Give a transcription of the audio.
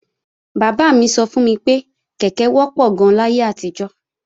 Bàbá mi sọ fún mi pé kèké wọ́pọ̀ gan-an láyé àtijọ́